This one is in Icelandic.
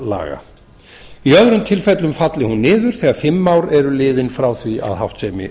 verðbréfaviðskiptalaga í öðrum tilfellum falli þær niður þegar fimm ár eru liðin frá því að háttsemi